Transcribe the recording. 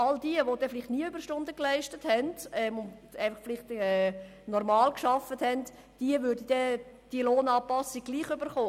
Alle jene, die vielleicht nie Überstunden geleistet, sondern normal gearbeitet haben, würden die entsprechende Lohnanpassung trotzdem erhalten.